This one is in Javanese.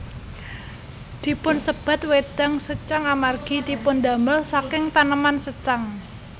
Dipunsebat wédang secang amargi dipundamel saking taneman secang